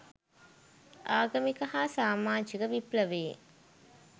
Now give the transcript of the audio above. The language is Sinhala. ආගමික හා සාමාජික විප්ලවයේ